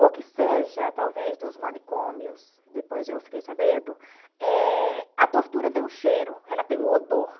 ou que seja talvez dos manicômios, depois eu fiquei sabendo, eh a tortura tem um cheiro, ela tem um odor.